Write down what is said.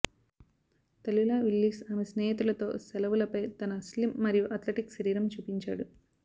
Tallulah Willis ఆమె స్నేహితులతో సెలవులపై తన స్లిమ్ మరియు అథ్లెటిక్ శరీరం చూపించాడు